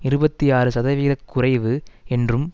இருபத்தி ஆறு சதவிகித குறைவு என்றும்